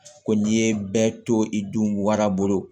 Ko n'i ye bɛɛ to i dun wara bolo